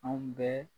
Anw bɛɛ